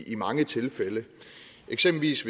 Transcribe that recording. disse